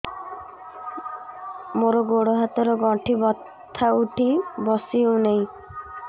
ମୋର ଗୋଡ଼ ହାତ ର ଗଣ୍ଠି ବଥା ଉଠି ବସି ହେଉନାହିଁ